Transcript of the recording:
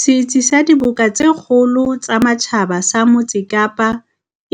Setsi sa Diboka tse Kgolo tsa Matjhaba sa Motse Kapa,